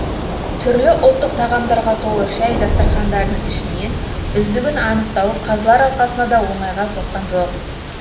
түрлі ұлттық тағамдарға толы шай дастархандарының ішінен үздігін анықтау қазылар алқасына да оңайға соққан жоқ